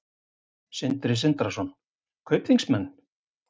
Sindri Sindrason: Kaupþingsmenn?